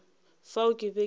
fao ke be ke sa